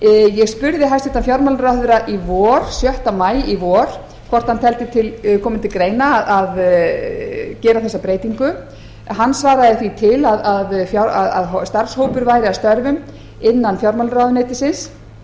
ég spurði hæstvirtur fjármálaráðherra sjötta maí í vor hvort hann teldi koma til greina að gera þessa breytingu hann svaraði því til að starfshópur væri að störfum innan fjármálaráðuneytisins